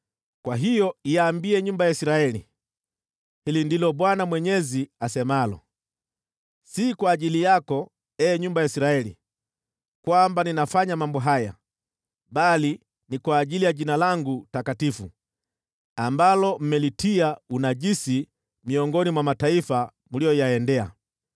“Kwa hiyo iambie nyumba ya Israeli, ‘Hili ndilo Bwana Mwenyezi asemalo: Si kwa ajili yako, ee nyumba ya Israeli, kwamba ninafanya mambo haya, bali ni kwa ajili ya Jina langu takatifu, ambalo mmelitia unajisi miongoni mwa mataifa mliyoyaendea.